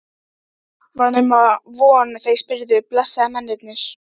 Var nema von þeir spyrðu, blessaðir mennirnir!